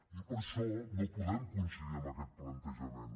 i per això no podem coincidir amb aquest plantejament